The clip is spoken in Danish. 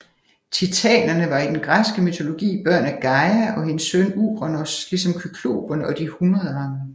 Titanerne var i den græske mytologi børn af Gaia og hendes søn Uranos ligesom kykloperne og de hundredarmede